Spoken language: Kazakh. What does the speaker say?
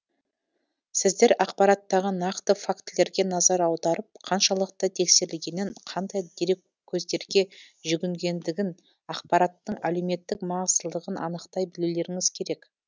сіздер ақпараттағы нақты фактілерге назар аударып қаншалықты тексерілгенін қандай дереккөздерге жүгінгендігін ақпараттың әлеуметтік маңыздылығын анықтай білулеріңіз керек